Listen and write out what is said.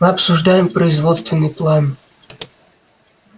мы обсуждаем производственный план